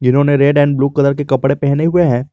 इन्होंने red and blue colour के कपड़े पहने हुए।